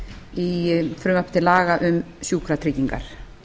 í frumvarpi til laga um sjúkratryggingar